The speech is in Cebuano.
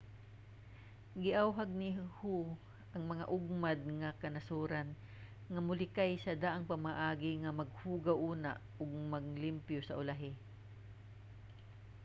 giawhag ni hu ang mga ugmad nga kanasoran nga molikay sa daang pamaagi nga maghugaw una ug manglimpyo sa ulahi.